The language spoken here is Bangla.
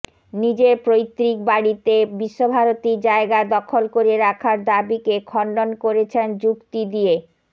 নিজের পৈতৃক বাড়িতে বিশ্বভারতীর জায়গা দখল করে রাখার দাবিকে খণ্ডন করেছেন যুক্তি দিয়ে